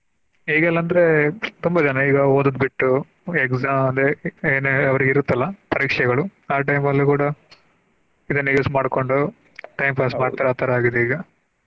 ಈಗೆಲ್ಲಾ ಅಂದ್ರೆ ತುಂಬಾ ಜನಾ ಈಗಾ ಓದುದು ಬಿಟ್ಟು exam ಅಂದ್ರೆ ಏನ ಅವ್ರಿಗೆ ಇರುತ್ತಲ್ಲ ಪರೀಕ್ಷೆಗಳು ಆ time ಲ್ಲು ಕೂಡಾ ಇದನ್ನ use ಮಾಡ್ಕೊಂಡು time pass ಮಾಡ್ತಾರೆ ಆ ತರಾ ಆಗದೆ ಈಗಾ.